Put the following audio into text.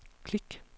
klik